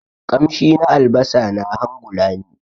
kamshi na albasa na hangula ni.